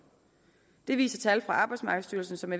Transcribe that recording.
det viser tal fra arbejdsmarkedsstyrelsen som